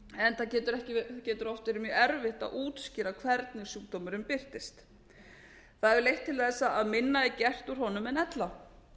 enda getur oft verið mjög erfitt að útskýra hvernig sjúkdómurinn birtist það hefur leitt til þess að minna er gert úr honum en ella